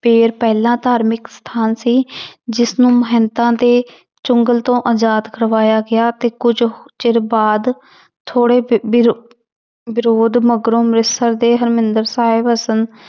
ਪਹਿਲਾਂ ਧਾਰਮਿਕ ਸਥਾਨ ਸੀ ਜਿਸਨੂੰ ਮਹੰਤਾਂ ਦੇ ਚੁੰਗਲ ਤੋਂ ਆਜ਼ਾਦ ਕਰਵਾਇਆ ਗਿਆ ਤੇ ਕੁੱਝ ਚਿਰ ਬਾਅਦ ਥੋੜ੍ਹੇ ਵਿਰੋਧ ਮਗਰੋਂ ਅੰਮ੍ਰਿਤਸਰ ਦੇ ਹਰਿਮੰਦਰ ਸਾਹਿਬ